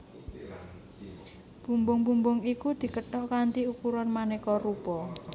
Bumbung bumbung iku dikethok kanthi ukuran manéka rupa